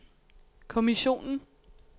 kommissionen